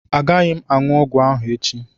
Agaghị m aṅụ ọgwụ ahụ echi